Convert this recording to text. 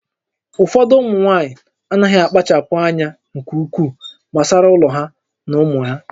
Ụfọdụ ụmụ nwaanyị anaghị akpachapụ anya nke ukwuu gbasara ụlọ ha na ụmụ ha